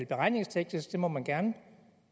beregningsteknisk det må man gerne